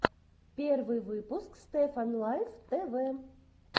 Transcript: первый выпуск стефан лайф тв